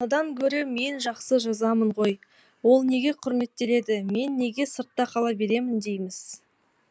анадан гөрі мен жақсы жазамын ғой ол неге құрметтеледі мен неге сыртта қала беремін дейміз